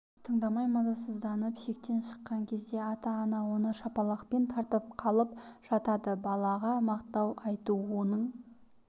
тыңдамай мазасызданып шектен шыққан кезде ата-ана оны шапалақпен тартып қалып жатады балаға мақтау айту оның